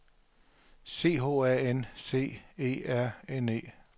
C H A N C E R N E